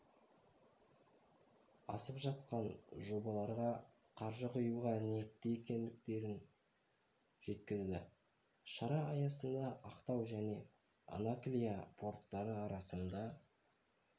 асып жатқан жобаларға қаржы құюға ниетті екендіктерін жеткізді шара аясында ақтау және анаклия порттары арасында